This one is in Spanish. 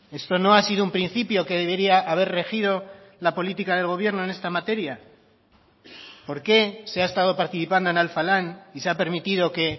esto no ha sido un principio que debería haber regido la política del gobierno en esta materia por qué se ha estado participando en alfa lan y se ha permitido que